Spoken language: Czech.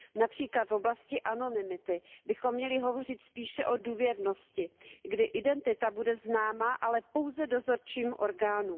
Například v oblasti anonymity bychom měli hovořit spíše o důvěrnosti, kdy identita bude známa, ale pouze dozorčím orgánům.